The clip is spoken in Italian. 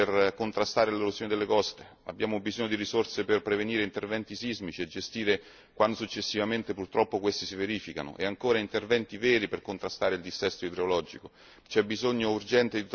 Abbiamo necessità di fondi per contrastare l'erosione delle coste, abbiamo bisogno di risorse per prevenire interventi sismici e gestire quando purtroppo questi si verificano, e ancora interventi veri per contrastare il dissesto idrologico.